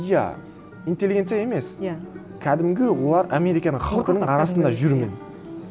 иә интеллигенция емес иә кәдімгі олар американың халқының арасында жүрмін